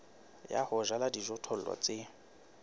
ya ho jala dijothollo tse